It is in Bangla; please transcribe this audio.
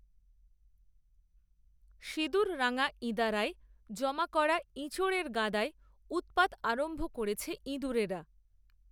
সিঁদুররঙা ইঁদারায়, জমা করা ইঁচোড়ের গাদায়, উত্‌পাত আরম্ভ করেছে ইঁদুরেরা